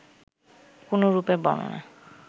কোন রূপের বর্ণনা